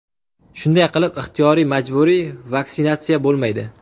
Shunday qilib, ixtiyoriy-majburiy vaksinatsiya bo‘lmaydi.